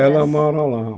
Ela mora lá.